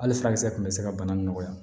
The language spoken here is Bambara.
Hali furakisɛ kun bɛ se ka bana nɔgɔya